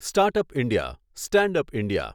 startup India, standup India